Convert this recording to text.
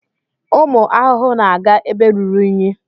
Ụmụ ahụhụ na-aga ebe ruru unyi.